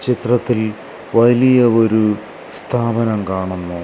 ചിത്രത്തിൽ വലിയ ഒരു സ്ഥാപനം കാണുന്നു.